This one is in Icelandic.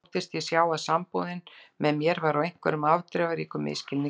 Þóttist ég sjá að samúðin með mér væri á einhverjum afdrifaríkum misskilningi byggð.